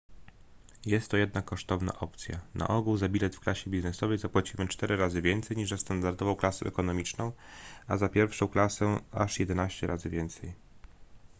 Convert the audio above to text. jest to jednak kosztowna opcja na ogół za bilet w klasie biznesowej zapłacimy cztery razy więcej niż za standardową klasę ekonomiczną a za pierwszą klasę aż jedenaście razy więcej